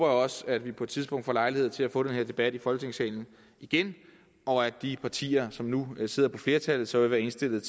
også at vi på et tidspunkt får lejlighed til at få taget den her debat i folketingssalen igen og at de partier som nu sidder på flertallet så vil være indstillet